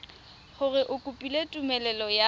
gore o kopile tumelelo ya